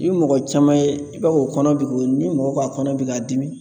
I ye mɔgɔ caman ye i b'a fɔ o kɔnɔ bi o ni mɔgɔ ka kɔnɔ bɛ k'a dimi